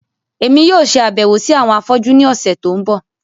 Èmi yóò ṣe àbẹ̀wò si àwọn afọ́jú ni ọ̀sẹ̀ to n bọ.